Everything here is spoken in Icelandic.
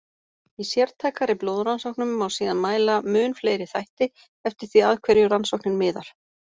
Í sértækari blóðrannsóknum má síðan mæla mun fleiri þætti, eftir því að hverju rannsóknin miðar.